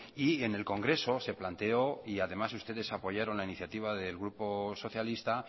y en el congreso se planteó y además ustedes apoyaron la iniciativa del grupo socialista